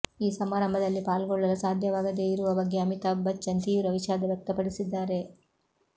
ಈ ಸಮಾರಂಭದಲ್ಲಿ ಪಾಲ್ಗೊಳ್ಳಲು ಸಾಧ್ಯವಾಗದೇ ಇರುವ ಬಗ್ಗೆ ಅಮಿತಾಭ್ ಬಚ್ಚನ್ ತೀವ್ರ ವಿಷಾದ ವ್ಯಕ್ತಪಡಿಸಿದ್ದಾರೆ